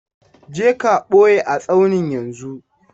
Je ka ɓoye a tsaunin yanzu!